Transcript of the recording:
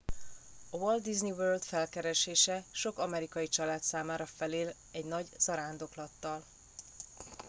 a walt disney world felkeresése sok amerikai család számára felér egy nagy zarándoklattal